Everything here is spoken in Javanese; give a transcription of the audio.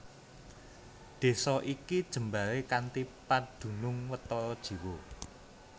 Desa iki jembaré kanthi padunung watara jiwa